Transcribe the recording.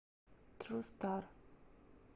тру стар